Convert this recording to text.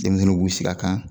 Denmisɛnnuw b'u sig'a kan